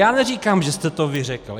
Já neříkám, že jste to vy řekl.